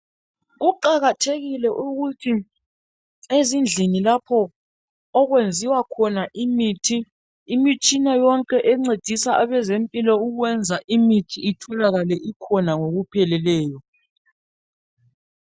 Kuqakathekile ukuthi ezindlini lapho okwenziwa imithi imitshina yonke encedisa abezempilo ukwenza imithi itholakale ngokupheleleyo.